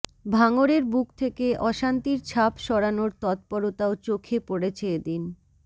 ভাঙরের বুক থেকে অশান্তির ছাপ সরানোর তৎপরতাও চোখে পড়েছে এদিন